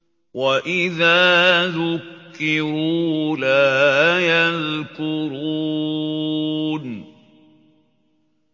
وَإِذَا ذُكِّرُوا لَا يَذْكُرُونَ